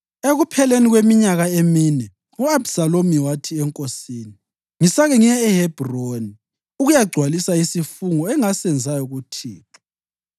Ekupheleni kweminyaka emine, u-Abhisalomu wathi enkosini, “Ngisake ngiye eHebhroni ukuyagcwalisa isifungo engasenzayo kuThixo.